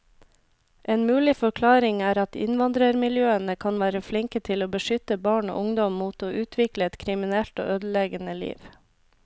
En mulig forklaring er at innvandrermiljøene kan være flinke til å beskytte barn og ungdom mot å utvikle et kriminelt og ødeleggende liv.